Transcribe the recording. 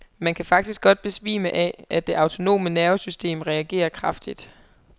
Man kan faktisk godt besvime af, at det autonome nervesystem reagerer kraftigt.